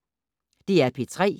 DR P3